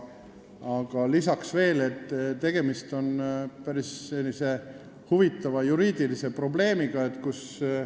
Aga lisaks ütlen, et tegemist on päris huvitava juriidilise probleemiga.